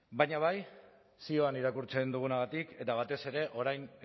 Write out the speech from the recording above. baina bai zioan irakurtzen dugunagatik eta batez ere orain